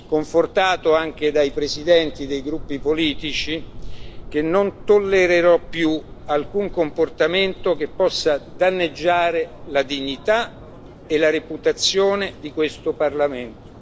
confortato anche dai presidenti dei gruppi politici, che non tollererò più alcun comportamento che possa danneggiare la dignità e la reputazione di questo Parlamento.